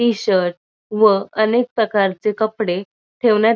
T shirt व अनेक प्रकारचे कपडे ठेवण्यात --